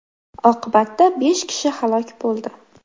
Oqibatda besh kishi halok bo‘ldi.